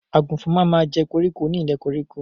Àgùnfọn ma ma jẹ́ koríko ni ilẹ̀ koríko.